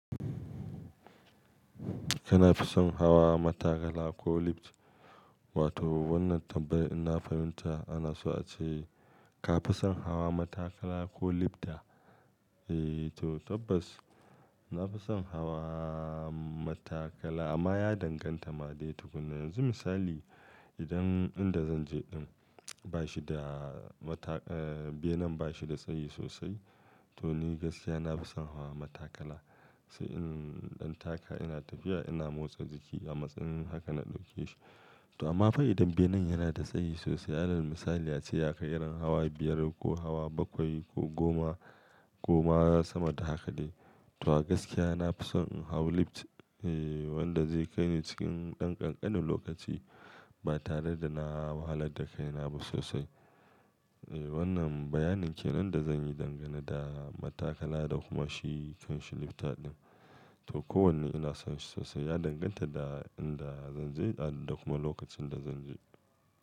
Kana fi son hawa matakala ko lift? Wato wannan tambayar inna fahimta ana so a ce ka fi son hawa matakala ko lifta? Eee to tabbas na fi son hawa matakala amma ya danganta ma dai tukunna. Yanzu misali idan inda zan je din bashi da mata-- eh benen ba shi da tsayi sosai to ni gaskiya na fi son hawa matakala. Sai in ɗan taka ina tafiya ina motsa jiki a matsayin haka na ɗauke shi. To amma fa idan benen yana da tsayi sosai, alal misali a ce ya kai irin hawa biyar ko hawa bakwai ko goma, koma sama da haka dai, to gaskiya na fi son in hau lift, wanda zai kai ni cikin ɗan ƙanƙanin lokaci ba tare da na wahalar da kaina ba sosai. Eh wannan bayanin ke nan da zan yi dangane da matakala da kuma shi kanshi lifta din. To kowanne ina son shi sosai, ya danganta da inda zan je da kuma lokacin da zan je.